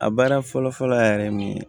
A baara fɔlɔ fɔlɔ a yɛrɛ ye mun ye